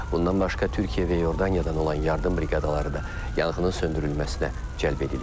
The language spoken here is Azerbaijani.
Bundan başqa Türkiyə və Yordanidan olan yardım briqadaları da yanğının söndürülməsinə cəlb edilib.